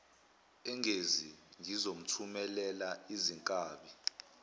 engezi ngizomthumelela izinkabi